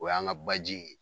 O y'an ka baji ye